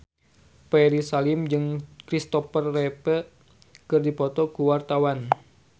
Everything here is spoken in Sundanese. Ferry Salim jeung Christopher Reeve keur dipoto ku wartawan